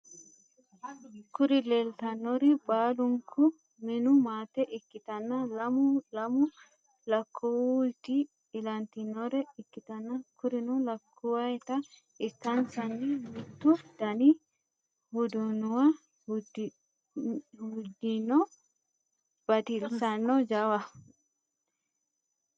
Kuri lelitanori baluniku minu maate ikitana lamu lamu lakuwotu ilantinore ikitana kurino lakuwota ikanisani mitu dani hudunuwa udidhino batilisano jawaho.